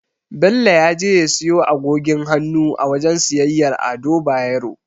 Bello ya je ya siyo agogin hannu a wajen siyayyar Ado Bayero.